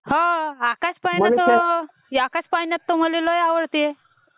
आकाशपाळणा तर मल्ये लई आवडते... Over lapping